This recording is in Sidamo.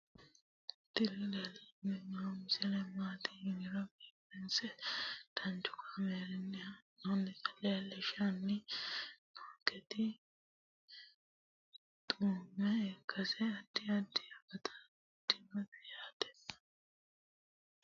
tini leeltanni noo misile maaati yiniro biifinse danchu kaamerinni haa'noonnita leellishshanni nonketi xuma ikkase addi addi akata amadaseeti yaate konnira biiffanno misileeti tini